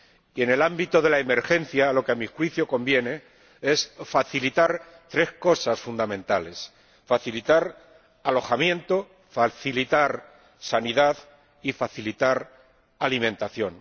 Y en el ámbito de la emergencia, lo que a mi juicio conviene es facilitar tres cosas fundamentales facilitar alojamiento, facilitar sanidad y facilitar alimentación.